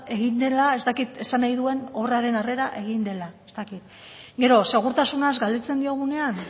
egin dela ez dakit esan nahi duen obraren arrera egin dela ez dakit gero segurtasunaz galdetzen diogunean